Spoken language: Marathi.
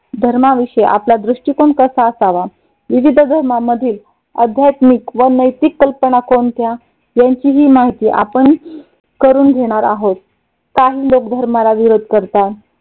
धर्माविषयी आपला दृष्टिकोन कसा असावा. विविध धर्मामधील अध्यात्मिक व नैतिक कल्पना कोणत्या? यांची ही माहिती आपण करून घेणार आहोत. काही लोक धर्माला विरोध करतात.